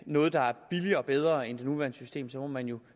noget der er billigere og bedre end det nuværende system må man jo